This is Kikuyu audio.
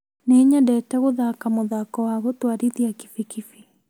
Nĩnyendete gũthaka mũthako wa gũtwarithia kibikibi